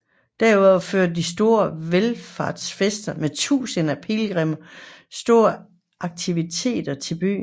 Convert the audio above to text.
Derudover tilførte de store valfartsfester med tusindvis af pilgrimme stor aktivitet til byen